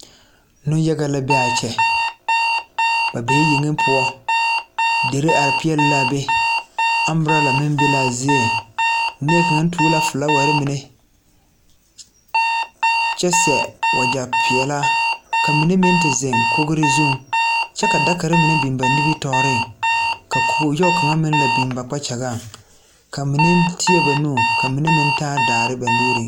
Neŋ yaga la be a kyɛ ba bee yeŋe poɔ derre are peɛɛle laa be ambrala meŋ be laa zie nie kaŋ tuo la flaawarre mine kyɛbseɛ wagyɛ peɛɛlaa ka mine meŋ te zeŋ kogre zuŋ kyɛvka dakarre mine biŋ ba nimitooreŋ ka kog yoge kaŋa biŋ ba kpakyagaŋ ka mine teɛ ba nu ka mine meŋ taa daare ba nuuriŋ.